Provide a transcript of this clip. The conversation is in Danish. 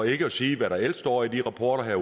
ikke at sige hvad der ellers står i de rapporter han